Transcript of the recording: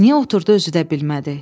Niyə oturdu özü də bilmədi.